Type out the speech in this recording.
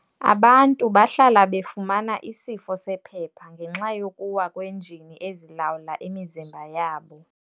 Abantu bahlala befumana isifo sephepha ngenxa yokuwa kwenjini ezilawula imizimba yabo.